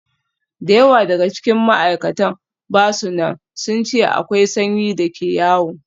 Da yawa daga cikin ma'aikatan ba su nan, sun ce akwai sanyi da ke yawo.